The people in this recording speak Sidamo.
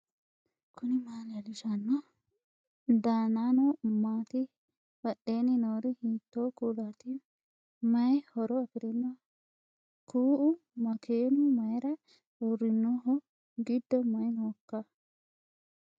knuni maa leellishanno ? danano maati ? badheenni noori hiitto kuulaati ? mayi horo afirino ? kuu'u makeenu mayra uurrinoho gido mayi nooikka